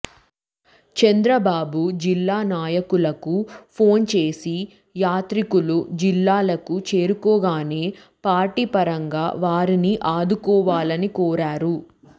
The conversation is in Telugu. చంద్రబాబు జిల్లా నాయకులకు ఫోన్ చేసి యాత్రికులు జిల్లాలకు చేరుకోగానే పార్టీ పరంగా వారిని ఆదుకోవాలని కోరారు